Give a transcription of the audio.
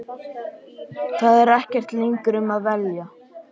Það er ekkert lengur um að velja.